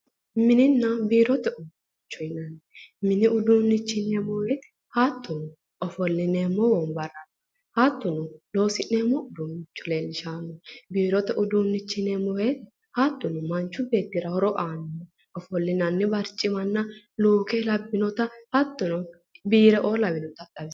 mininna biirote uduunnichi yinanniri mini uduunnicho yineemmowoyite hattono ofollineemmo wombarra hattono loosi'neemmo uduunnicho leellishanno hattono biirote uduunnicho yineemmowoyite hattono manchi beettira horo aannoha ofollinanni barcima luuke labbinota hattono biireoo lawinori xawisanno.